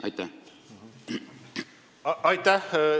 Aitäh teile!